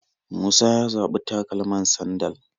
Musa ya zaɓi takalaman sandal